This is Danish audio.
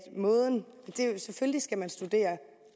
måden selvfølgelig skal man studere